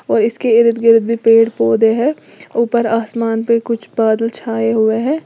और इसके इर्द गिर्द भी पेड़ पौधे हैं ऊपर आसमान पे कुछ बादल छाए हुए हैं।